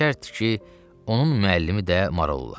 Bəşərdi ki, onun müəllimi də maraldır.